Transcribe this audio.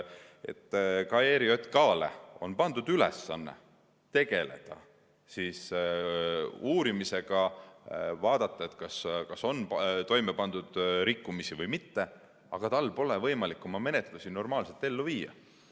Ka ERJK‑le on pandud ülesanne tegeleda uurimisega, vaadata, kas on toime pandud rikkumisi või mitte, aga tal pole võimalik oma menetlusi normaalselt ellu viia.